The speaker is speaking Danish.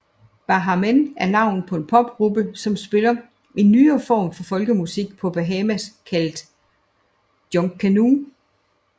Baha Men er navnet på en popgruppe som spiller en nyere form for folkemusik fra Bahamas kaldt junkanoo